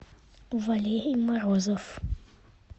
валерий морозов